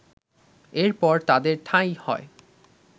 এরপর তাদের ঠাঁই হয়